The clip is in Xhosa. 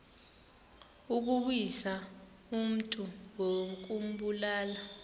ukuwisa umntu ngokumbulala